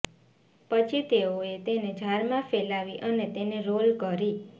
પછી તેઓએ તેને જારમાં ફેલાવી અને તેને રોલ કરી